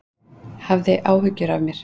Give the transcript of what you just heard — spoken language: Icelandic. Hafðir áhyggjur af mér.